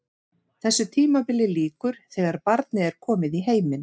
Þessu tímabili lýkur þegar barnið er komið í heiminn.